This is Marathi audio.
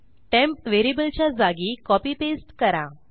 टेम्प व्हेरिएबलच्या जागी कॉपी पेस्ट करा